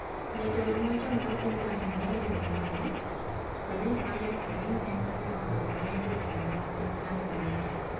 Jatelo machon mar piny Tanzania e riwruokno, Salim Ahmed Salim ema ne otelo ne jotelo mag piny Tanzania.